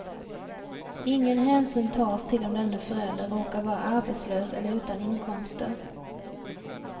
Ingen hänsyn tas till om denne förälder råkar vara arbetslös eller utan inkomster.